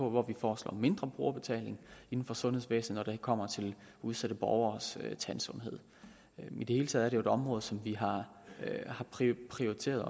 hvor vi foreslår mindre brugerbetaling inden for sundhedsvæsenet og det kommer til udsatte borgeres tandsundhed i det hele taget jo et område som vi har prioriteret